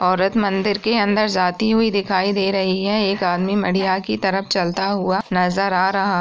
औरत मंदिर के अंदर जाती हुई दिखाई दे रही है| एक आदमी मीडिया की तरफ चलता हुआ नजर आ रहा --